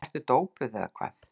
Ertu dópuð eða hvað?